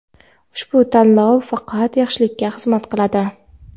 ushbu tayinlov faqat yaxshilikga xizmat qiladi.